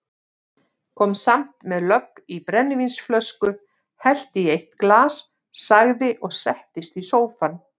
Kom samt með lögg í brennivínsflösku, hellti í eitt glas, sagði og settist í sófann